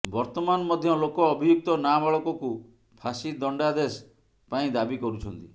ବର୍ତ୍ତମାନ ମଧ୍ୟ ଲୋକ ଅଭିଯୁକ୍ତ ନାବାଳକକୁ ଫାଶୀ ଦଣ୍ଡାଦେଶ ପାଇଁ ଦାବି କରୁଛନ୍ତି